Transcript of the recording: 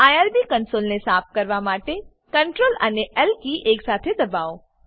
IRB કંસોલને સાફ કરવા માટે સીઆરટીએલ અને એલ કી એકસાથે દબાવો